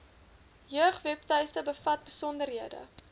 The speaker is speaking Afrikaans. jeugwebtuiste bevat besonderhede